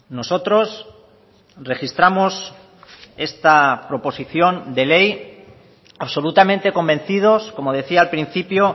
nosotros registramos esta proposición de ley absolutamente convencidos como decía al principio